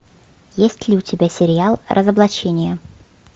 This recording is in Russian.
есть ли у тебя сериал разоблачение